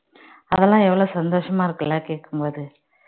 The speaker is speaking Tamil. அதெல்லாம் எவ்வளவு சந்தோஷமா இருக்கு இல்ல கேக்கும்போது